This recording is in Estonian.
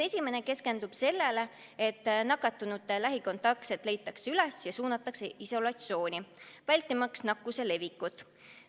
Esimene keskendub sellele, et nakatunute lähikontaktsed leitakse üles ja suunatakse isolatsiooni, vältimaks nakkuse levikut.